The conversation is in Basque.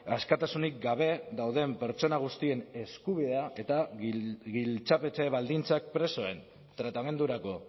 askatasunik gabe dauden pertsona guztien eskubidea eta giltzapetze baldintzak presoen tratamendurako